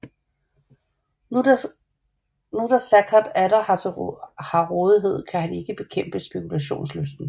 Nu da Saccard atter har rådighed kan han ikke bekæmpe spekulationslysten